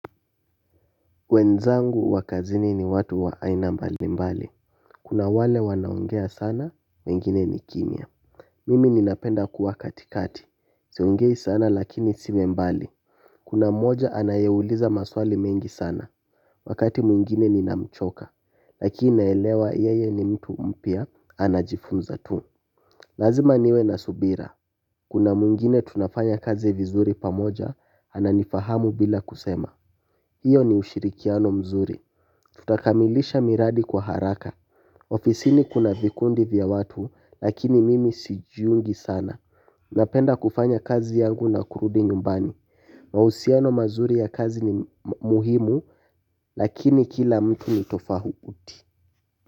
Wenzangu wakazini ni watu wa aina mbali mbali. Kuna wale wanaongea sana, wengine ni kimya. Mimi ninapenda kuwa katikati siongei sana lakini siwi mbali. Kuna mmoja anayeuliza maswali mengi sana. Wakati mwingine ninamchoka lakini naelewa yeye ni mtu mpya anajifunza tu. Lazima niwe na subira. Kuna mwingine tunafanya kazi vizuri pamoja ananifahamu bila kusema hiyo ni ushirikiano mzuri. Tutakamilisha miradi kwa haraka. Ofisini kuna vikundi vya watu lakini mimi sijiungi sana. Napenda kufanya kazi yangu na kurudi nyumbani. Mahusiano mazuri ya kazi ni muhimu. Lakini kila mtu ni tofauti.